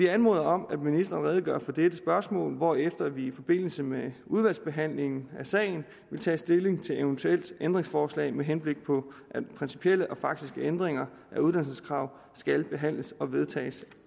anmoder om at ministeren redegør for dette spørgsmål hvorefter vi i forbindelse med udvalgsbehandlingen af sagen vil tage stilling til et eventuelt ændringsforslag med henblik på at principielle og faktiske ændringer af uddannelseskrav skal behandles og vedtages